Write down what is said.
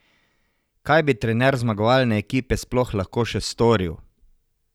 Kaj bi trener zmagovalne ekipe sploh lahko še storil?